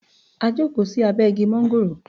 We sat under the mango tree